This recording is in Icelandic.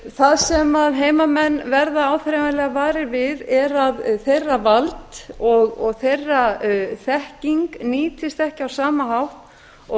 það sem heimamenn verða áþreifanlega varir við er að þeirra vald og þeirra þekking nýtist ekki á sama hátt og